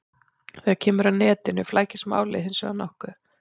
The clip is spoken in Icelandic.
Þegar kemur að netinu flækist málið hins vegar nokkuð.